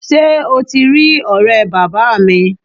Sé o ti rí òré bàbáa mi?